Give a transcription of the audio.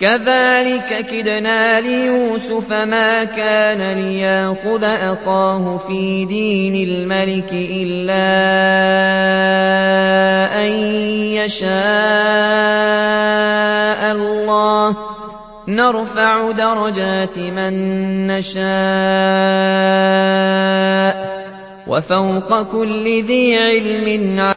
كَذَٰلِكَ كِدْنَا لِيُوسُفَ ۖ مَا كَانَ لِيَأْخُذَ أَخَاهُ فِي دِينِ الْمَلِكِ إِلَّا أَن يَشَاءَ اللَّهُ ۚ نَرْفَعُ دَرَجَاتٍ مَّن نَّشَاءُ ۗ وَفَوْقَ كُلِّ ذِي عِلْمٍ عَلِيمٌ